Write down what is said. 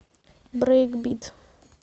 брейкбит